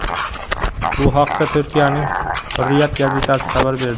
Bu haqda Turkiyaning Hurriyet gazetasi xabar berdi .